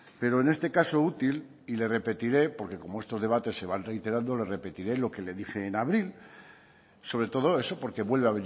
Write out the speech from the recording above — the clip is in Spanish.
pero en este caso útil y le repetiré porque como estos debates se van reiterando le repetiré lo que le dije en abril sobre todo eso porque vuelve